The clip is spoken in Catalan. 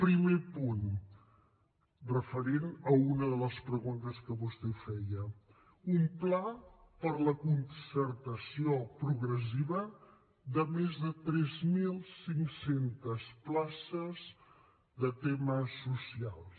primer punt referent a una de les preguntes que vostè feia un pla per a la concertació progressiva de més de tres mil cinc cents places de temes socials